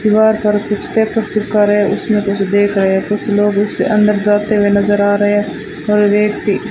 दीवार पर कुछ टैटू चिपका रहे हैं उसमें कुछ देख रहे हैं कुछ लोग उसके अंदर जाते हुए नजर आ रहे हैं और व्यक्ति --